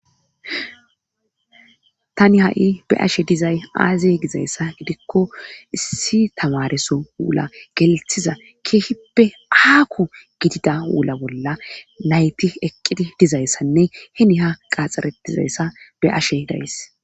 tani ha'i be ashe dizay aaze gizayssa gidikko issi tamareso wula gelthiza keehippe aaku gidida wula bolla nayti eqqidi dizayssanne hini ha qaxxaretizayssa be' ashe days